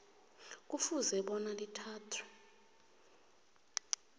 kufuze bona lithathwe